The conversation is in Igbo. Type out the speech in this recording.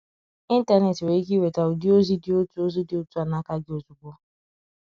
Ee, Ịntanet nwere ike iweta ụdị ozi dị otu ozi dị otu a n’aka gị ozugbo.